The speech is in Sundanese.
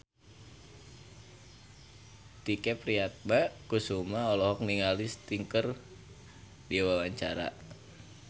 Tike Priatnakusuma olohok ningali Sting keur diwawancara